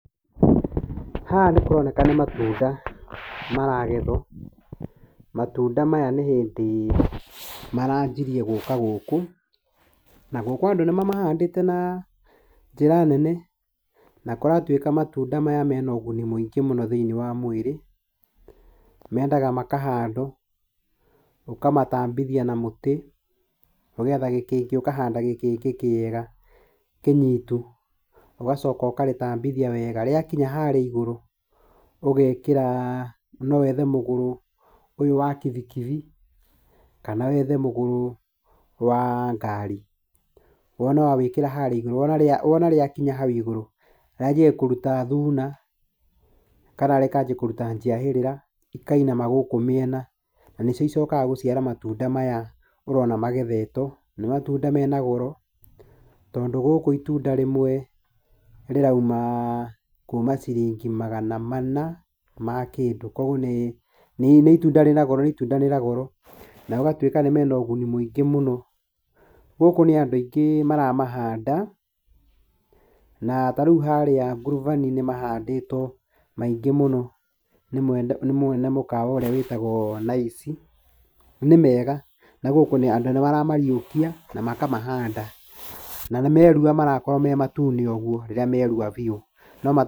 Haha nĩ kũroneka nĩ matunda maragethwo, matunda maya nĩ hĩndĩ maranjirie gũka gũkũ, na gũkũ andũ nĩ mamahandĩte na njĩra nene, na kũratuĩka matunda maya mena ũguni mũingĩ mũno thĩinĩ wa mwĩrĩ, mendaga makahandwo, ũkamatambithia na mũtĩ, ũgeetha gĩkĩngĩ ũkahanda gĩkĩngĩ kĩega kĩnyitu, ũgacoka ũkarĩtambithia wega, rĩakinya harĩa igũrũ ũgekĩra, no wethe mũgũrũ ũyũ wa kibikibi, kana wethe mũgũrũ wa ngaari, wona wa wĩkĩra harĩa igũrũ, wona rĩa wona rĩakinya hau igũrũ, rĩanjagia kũruta thuuna, kana rĩkanjia kũruta njiahĩrĩra, ikainama gũkũ mĩena, na nĩcio icokaga gũciara matunda maya ũrona magethetwo, nĩ matunda mena goro, tondũ gũkũ itunda rĩmwe rĩrauma kuuma ciringi magana mana ma kĩndũ, koguo nĩ nĩ itunda rĩna goro nĩ itunda rĩna goro, na gũgatwĩka nĩ mena ũguni mũingĩ mũno, gũkũ nĩ andũ aingĩ maramahanda, na ta rĩu harĩa ngurubani nĩ maandĩtwo maingĩ mũno nĩ mwene mũkawa ũrĩa wĩtagwo Nice, nĩ mega na gũkũ andũ nĩ maramariũkia na makamahanda, na meruha marakorwo me matune ũguo, rĩrĩa meruha biũ no.